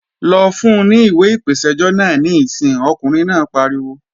Lọ fun ní ìwé ìpèsẹ́jọ́ náà níìsín, ọkùnrin náà pariwo!